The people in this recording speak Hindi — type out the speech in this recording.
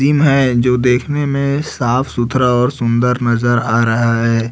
डिम है जो देखने में साफ सुथरा और सुंदर नजर आ रहा है।